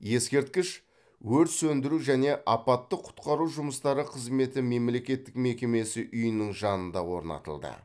ескерткіш өрт сөндіру және апаттық құтқару жұмыстары қызметі мемлекеттік мекемесі үйінің жанында орнатылды